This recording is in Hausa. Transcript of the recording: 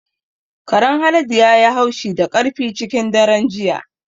Karen Haladu ya yi haushi da ƙarfi cikin daren jiya.